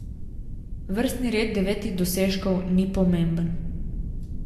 Vrstni red devetih dosežkov ni pomemben.